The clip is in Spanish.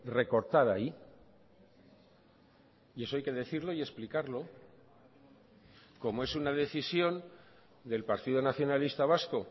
recortar ahí y eso hay que decirlo y explicarlo como es una decisión del partido nacionalista vasco